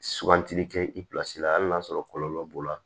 Sugantili kɛ i la hali n'a sɔrɔ kɔlɔlɔ b'o la